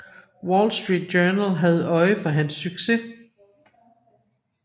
Wall Street Journal havde øje for hans succes